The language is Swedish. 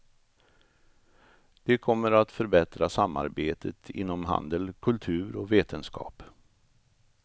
De kommer att förbättra samarbetet inom handel, kultur och vetenskap.